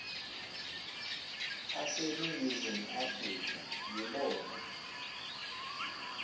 aseningizimu afrika yibona